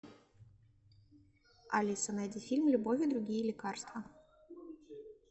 алиса найди фильм любовь и другие лекарства